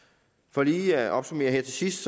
for lige at opsummere her til sidst